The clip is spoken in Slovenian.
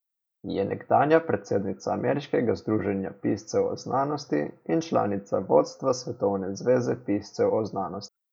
Je nekdanja predsednica Ameriškega združenja piscev o znanosti in članica vodstva Svetovne zveze piscev o znanosti.